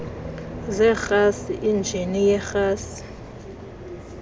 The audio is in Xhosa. zerhasi injini yerhasi